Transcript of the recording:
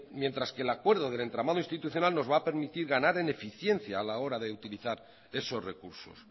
mientras que el acuerdo del entramado institucional nos va a permitir ganar en eficiencia a la hora de utilizar esos recursos